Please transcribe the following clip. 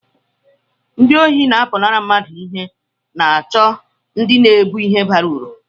ndị ohi na-apụnara mmadụ ihe na-àchọ ndị na-ébu ihe bara uru